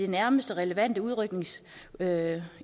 nærmeste relevante udrykningsenhed